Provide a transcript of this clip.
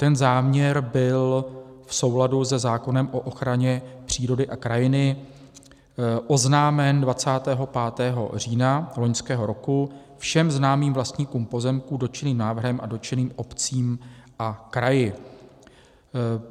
Ten záměr byl v souladu se zákonem o ochraně přírody a krajiny oznámen 25. října loňského roku všem známým vlastníkům pozemků dotčeným návrhem a dotčeným obcím a kraji.